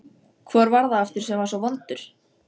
Hvor var það aftur sem var svo vondur?